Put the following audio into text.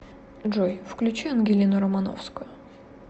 джой включи ангелину романовскую